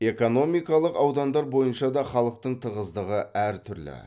экономикалық аудандар бойынша да халықтың тығыздығы әртүрлі